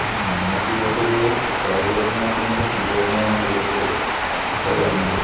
മ്മ്. നിങ്ങൾക്ക് ഇത് കായികപരമായിട്ട് നിങ്ങൾ ഫുട്ബോളിനെയാണോ കൂടുതൽ ഇഷ്ടപ്പെടുന്നത്?